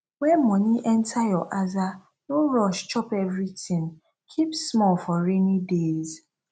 when money enter your aza no rush chop everything keep small for rainy days